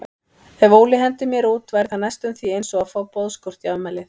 Ef Óli hendir mér út væri það næstum því einsog að fá boðskort í afmælið.